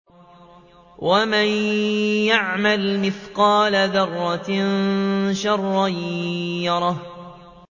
وَمَن يَعْمَلْ مِثْقَالَ ذَرَّةٍ شَرًّا يَرَهُ